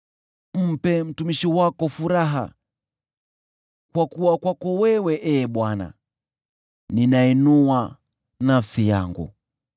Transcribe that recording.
Mpe mtumishi wako furaha, kwa kuwa kwako wewe, Ee Bwana , ninainua nafsi yangu.